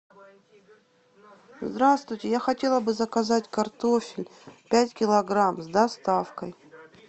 здравствуйте я хотела бы заказать картофель пять килограмм с доставкой